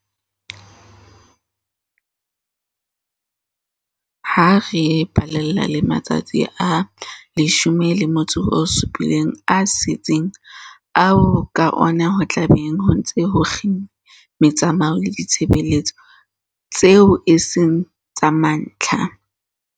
Ha re balella le matsatsi a 17 a setseng ao ka ona ho tla beng ho ntse ho kginnwe metsamao le ditshebeletso tseo e seng tsa mantlha